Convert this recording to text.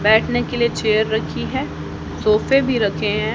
बैठने के लिए चेयर रखी है सोफे भी रखे हैं।